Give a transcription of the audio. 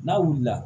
N'a wulila